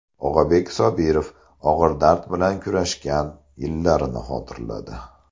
Og‘abek Sobirov og‘ir dard bilan kurashgan yillarini xotirladi .